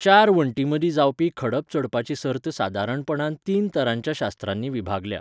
चार वण्टींमदीं जावपी खडप चडपाची सर्त सादारणपणान तीन तरांच्या शास्त्रांनी विभागल्या.